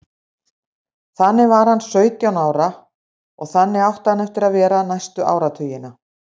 Þannig var hann sautján ára og þannig átti hann eftir að vera næstu áratugina.